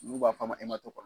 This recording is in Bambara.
Ulu b'a f'a ma